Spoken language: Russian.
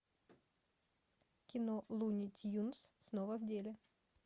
кино луни тюнз снова в деле